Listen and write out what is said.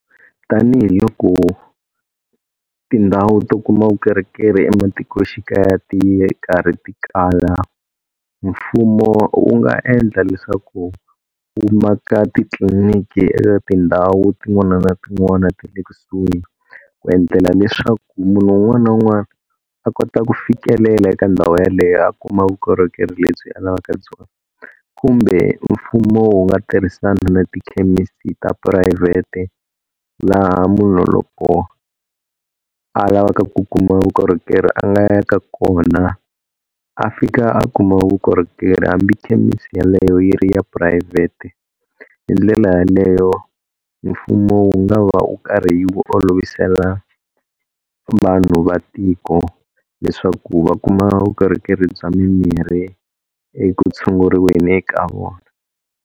Tanihi loko tindhawu to kuma vukorhokeri ematikoxikaya ti ye karhi ti kala mfumo wu nga endla leswaku wu maka titliliniki eka tindhawu tin'wana na tin'wana ta le kusuhi ku endlela leswaku munhu wun'wana na wun'wana a kota ku fikelela eka ndhawu yeleyo a kuma vukorhokeri lebyi a lavaka byona kumbe mfumo wu nga tirhisana na tikhemisi ta phurayivhete laha munhu loko a lavaka ku kuma vukorhokeri a nga ya ka kona a fika a kuma vukorhokeri hambi khemisi yaleyo yi ri ya phurayivhete hi ndlela yaleyo mfumo wu nga va u karhi wu olovisela vanhu va tiko leswaku va kuma vukorhokeri bya mimirhi eku tshunguriweni eka vona.